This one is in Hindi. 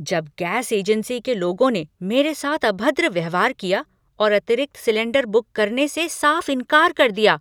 जब गैस एजेंसी के लोगों ने मेरे साथ अभद्र व्यवहार किया और अतिरिक्त सिलेंडर बुक करने से साफ़ इनकार कर दिया